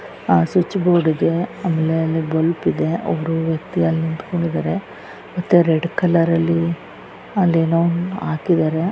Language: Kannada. ಆಹ್ಹ್ ಸ್ವಿಚ್ ಬೋರ್ಡ್ ಇದೆ ಆಮೇಲೆ ಅಲ್ಲಿ ಬಲ್ಬ್ ಇದೆ ಒಬ್ಬರು ವ್ಯಕ್ತಿ ಅಲ್ಲಿ ನಿಂತ್ಕೊಂಡಿದ್ದಾರೆ ಮತ್ತೆ ರೆಡ್ ಕಲರ್ ಲ್ಲಿ ಅಲ್ಲೇನೋ ಹಾಕಿದ್ದಾರೆ.